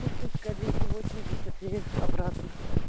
пушкинская двести восемьдесят три обратно